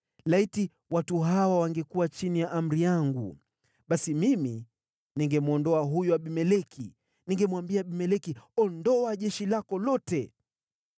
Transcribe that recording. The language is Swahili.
Laiti watu hawa wangekuwa chini ya amri yangu! Basi mimi ningemwondoa huyo Abimeleki. Ningemwambia Abimeleki, ‘Ondoa jeshi lako lote.’ ”